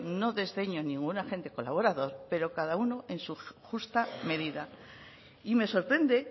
no desdeño a ningún agente colaborador pero cada uno en su justa medida y me sorprende